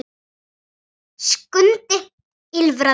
Skundi ýlfraði lágt.